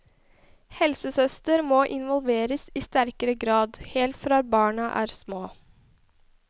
Helsesøster må involveres i sterkere grad, helt fra barna er små.